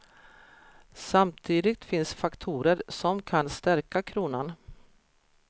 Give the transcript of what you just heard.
Samtidigt finns faktorer som kan stärka kronan.